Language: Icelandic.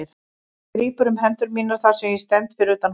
Hann grípur um hendur mínar þar sem ég stend fyrir utan húsið.